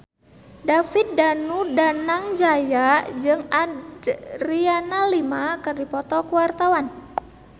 David Danu Danangjaya jeung Adriana Lima keur dipoto ku wartawan